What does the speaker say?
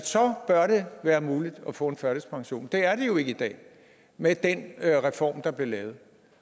så bør det være muligt at få en førtidspension det er det jo ikke i dag med den reform der blev lavet